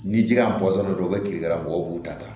Ni ji ka bɔ dɔrɔn u bɛ kilikɛra mɔgɔw b'u ta ta